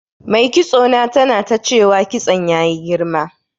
Mai kitso na tana ta cewa kitson ya yi girma.